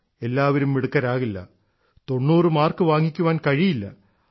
എല്ലാരും മിടുക്കരാകില്ല തൊണ്ണൂറു മാർക്ക് വാങ്ങിക്കാൻ കഴിയില്ല